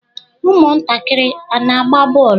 Ụmụntakịrị a na-agba bọọlụ?